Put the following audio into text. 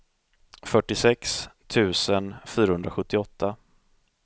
fyrtiosex tusen fyrahundrasjuttioåtta